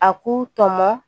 A k'u tɔmɔ